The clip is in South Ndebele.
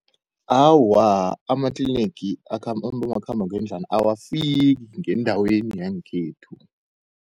Awa, amatlinigi abomakhambangendlwana awafiki ngendaweni yangekhethu.